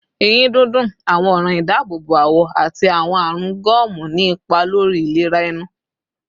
Eyin dundun, awọn ọran idaabobo awọ, ati awọn arun gomu ni ipa lori ilera ẹnu